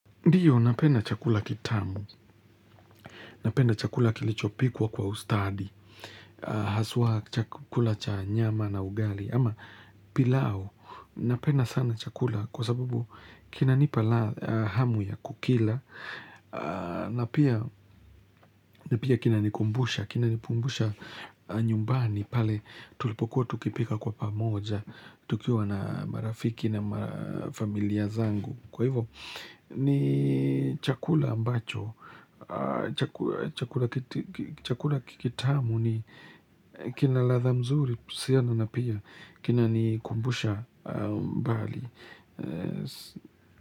Ndiyo napedna chakula kitamu, napenda chakula kilichopikwa kwa ustadi, haswa chakula cha nyama na ugali, ama pilau napedna sana chakula kwa sababu kinanipa ladh hamu ya kukila na na pia kinanikumbusha, kinanikumbusha nyumbani pale tulipokuwa tukipika kwa pamoja, tukiwa na marafiki na ma familia zangu. Kwa hivo ni chakula ambacho, chaku chakula kikitamu ni kina ladha mzuri, kuhusiana na pia, kinanikumbusha mbali.